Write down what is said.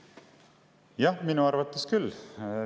Jah, minu arvates küll.